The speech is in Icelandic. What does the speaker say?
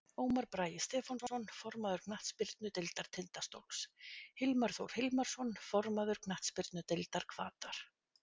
Ómar Bragi Stefánsson, formaður knattspyrnudeildar Tindastóls Hilmar Þór Hilmarsson, formaður knattspyrnudeildar Hvatar.